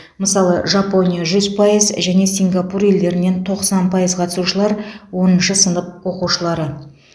мысалы жапония жүз пайыз және сингапур елдерінен тоқсан пайыз қатысушылар оныншы сынып оқушылары